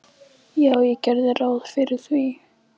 Já, ég geri ráð fyrir því.